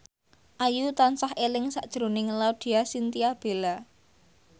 Ayu tansah eling sakjroning Laudya Chintya Bella